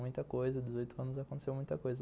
Muita coisa, dezoito anos, aconteceu muita coisa.